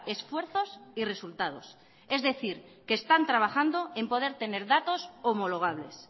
esfuerzos y resultados es decir que están trabajando en poder tener datos homologables